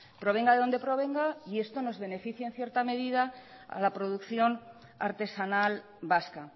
provenga de donde provenga y esto nos beneficia en cierta medida a la producción artesanal vasca